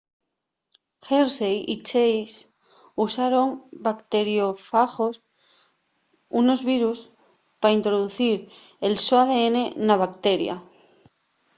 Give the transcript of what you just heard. hershey y chase usaron bacteriófagos unos virus pa introducir el so adn na bacteria